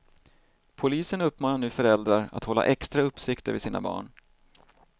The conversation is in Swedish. Polisen uppmanar nu föräldrar att hålla extra uppsikt över sina barn.